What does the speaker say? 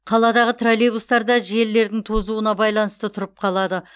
қаладағы троллейбустар да желілердің тозуына байланысты тұрып қалады